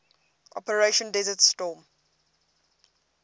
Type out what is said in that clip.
operation desert storm